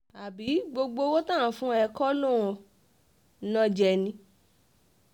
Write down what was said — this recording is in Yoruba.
àbí gbogbo owó tá à ń fún ẹ kọ́ ló ń ná jẹ ni